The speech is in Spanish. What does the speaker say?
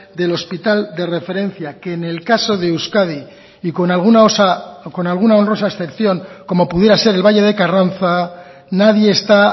del hospital de referencia que en el caso de euskadi y con alguna honrosa excepción como pudiera ser el valle de carranza nadie está